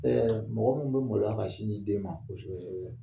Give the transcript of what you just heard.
Ɛɛ mɔgɔ minnu bɛ maloya ka sin di den ma